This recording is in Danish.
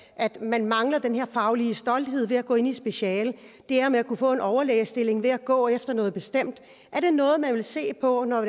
at man mangler den her faglige stolthed ved at gå ind i et speciale det her med at kunne få en overlægestilling ved at gå efter noget bestemt er det noget man vil se på når